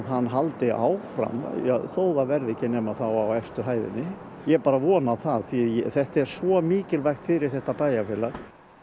hann haldi áfram þó það verði ekki nema á efstu hæðinni ég bara vona það því þetta er svo mikilvægt fyrir þetta bæjarfélag